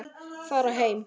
Fara heim?